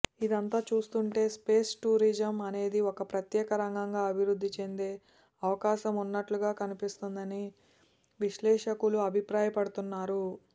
ఇదంతా చూస్తుంటే space tourism అనేది ఒక ప్రత్యేక రంగంగా అభివృద్ధి చెందే అవకాశం ఉన్నట్లుగా కనిపిస్తోందని విశ్లేషకులు అభిప్రాయపడుతున్నారు